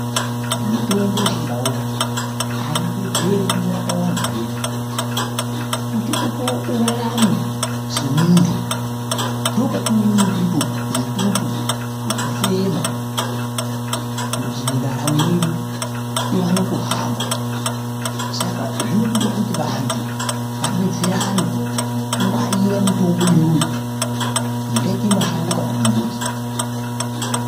Mitombo yechindau haibetseri kungorapa vantu zvega kuti urarame semuntu ndookwatinoone mututu wokufema kuti ndaramo yedu iwane kuhamba saka zvinotode kuti vantu vadetserane kungwarira mitombo iyoyo ingaite mashango kana mumbuti.